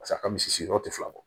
Pas'a ka misi yɔrɔ tɛ fila bɔ